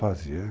Fazia.